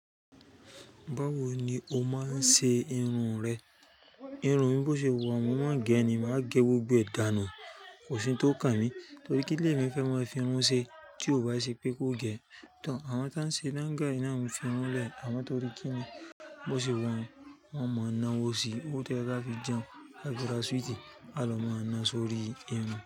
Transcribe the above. Báwo ni o máa ń ṣe irun rẹ? Irun mi bó ṣe wọ́n, mo máa gẹ ni, màá gẹ gbogbo ẹ̀dà náà, kò sí to kan mi. Torí kílé mi fẹ́ máa fi irun ṣe tí ó bá ṣe pé kó gẹ. Tọọ̀ àwọn tí wọ́n ń ṣe dangay náà ń fi irun lẹ̀, àmọ́ torí kí ni bó ṣe wọ́n, wọ́n mọ iná òwú sí i, ó tẹ láti fi jẹun, a fi ra súwìtì, a ló máa ná sórí irun.